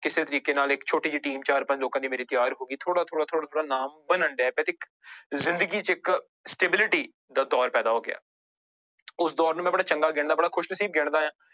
ਕਿਸੇ ਤਰੀਕੇ ਨਾਲ ਇੱਕ ਛੋਟੀ ਜਿਹੀ team ਚਾਰ ਪੰਜ ਲੋਕਾਂ ਦੀ ਮੇਰੀ ਤਿਆਰ ਹੋ ਗਈ, ਥੋੜ੍ਹਾ-ਥੋੜ੍ਹਾ, ਥੋੜ੍ਹਾ-ਥੋੜ੍ਹਾ ਨਾਮ ਬਣਨ ਡਿਆ ਜ਼ਿੰਦਗੀ ਚ ਇੱਕ stability ਦਾ ਦੌਰ ਪੈਦਾ ਹੋ ਗਿਆ ਉਸ ਦੌਰ ਨੂੰ ਮੈਂ ਬੜਾ ਚੰਗਾ ਗਿਣਦਾ ਬੜਾ ਖ਼ੁਸ਼ਨਸ਼ੀਬ ਗਿਣਦਾਂ